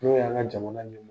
N'o y'an ka jamana